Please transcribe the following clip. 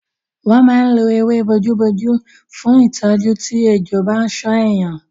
Wọ́n máa ń lo ewé bomubómú fún ìtọ́jú tí ejò bá ṣán èèyàn.